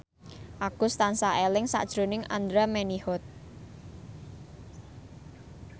Agus tansah eling sakjroning Andra Manihot